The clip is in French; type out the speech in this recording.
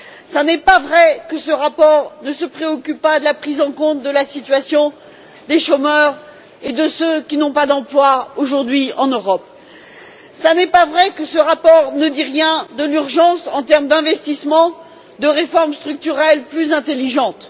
Ce n'est pas vrai que ce rapport ne se préoccupe pas de la situation des chômeurs et de ceux qui n'ont pas d'emploi, aujourd'hui, en Europe. Ce n'est pas vrai que ce rapport ne dit rien de l'urgence, en termes d'investissements et de réformes structurelles plus intelligentes.